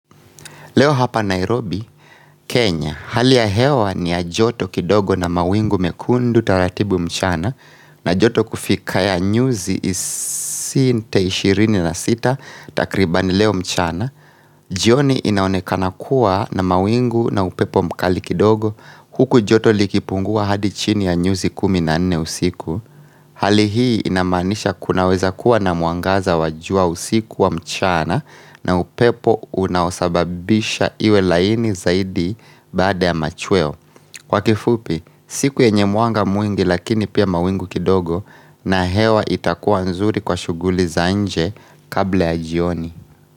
Leo hapa Nairobi, Kenya, hali ya hewa ni ya joto kidogo na mawingu mekundu taratibu mchana na joto kufika ya nyuzi isinte ishirini na sita takribani leo mchana. Jioni inaonekana kuwa na mawingu na upepo mkali kidogo huku joto likipungua hadi chini ya nyuzi kumi na nne usiku Hali hii inamaanisha kunaweza kuwa na mwangaza wa jua usiku wa mchana na upepo unaosababisha iwe laini zaidi baada ya machweo Kwa kifupi, siku yenye mwanga mwingi lakini pia mawingu kidogo na hewa itakuwa nzuri kwa shughuli za nje kabla ya jioni.